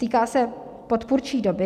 Týká se podpůrčí doby.